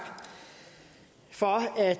for at